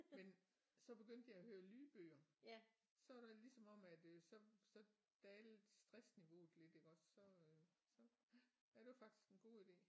Men så begyndte jeg at høre lydbøger så der ligesom om at øh så så dalede stressniveauet lidt iggås så øh så ja det var faktisk en god ide